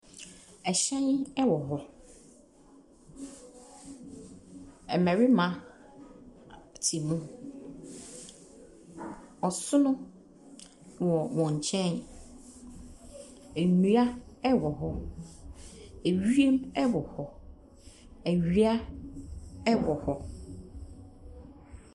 Ɛhyɛn wɔ hɔ. Mmarima te mu. Ɔson wɔ wɔn nkyɛn. Nnua wɔ hɔ. Ewim wɔ hɔ. Awia ɛwɔ hɔ.